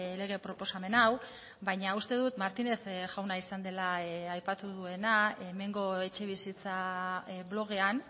lege proposamen hau baina uste dut martinez jauna izan dela aipatu duena hemengo etxebizitza blogean